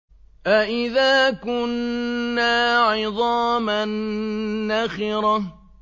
أَإِذَا كُنَّا عِظَامًا نَّخِرَةً